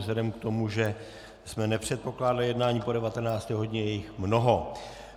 Vzhledem k tomu, že jsme nepředpokládali jednání po 19. hodině, je jich mnoho.